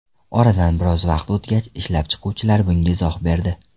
Oradan biroz vaqt o‘tgach, ishlab chiquvchilar bunga izoh berdi.